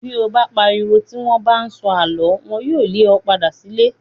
Bí o bá pariwo tí wọ́n bá ń sọ àlọ́. Wọn yóò le ọ padà sílé.